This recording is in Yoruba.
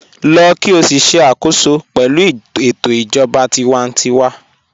Lọ́ kí o sì ṣẹ̀ àkòsọ pẹ̀lú ètò ijọba tìwántíwà